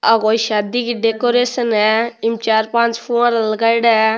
ये कोई शादी की डेकोरेशन है चार पांच फव्वारा लगाईडा है।